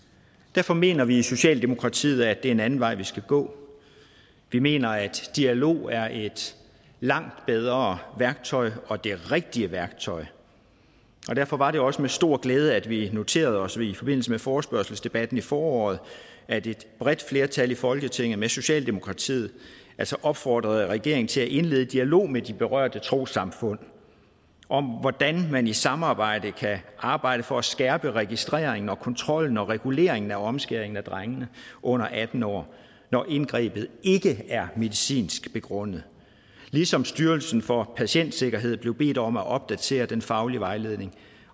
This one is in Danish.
derfor mener vi i socialdemokratiet at det er en anden vej vi skal gå vi mener at dialog er et langt bedre værktøj og det rigtige værktøj derfor var det også med stor glæde at vi noterede os i forbindelse med forespørgselsdebatten i foråret at et bredt flertal i folketinget med socialdemokratiet opfordrede regeringen til at indlede en dialog med de berørte trossamfund om hvordan man i samarbejde kan arbejde for at skærpe registreringen og kontrollen og reguleringen af omskæring af drenge under atten år når indgrebet ikke er medicinsk begrundet ligesom styrelsen for patientsikkerhed blev bedt om at opdatere den faglige vejledning